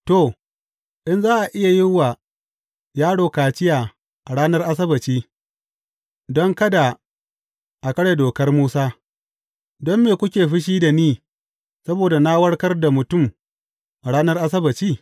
To, in za a iya yin wa yaro kaciya a ranar Asabbaci don kada a karya dokar Musa, don me kuke fushi da ni saboda na warkar da mutum a ranar Asabbaci?